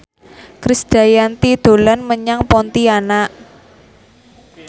Krisdayanti dolan menyang Pontianak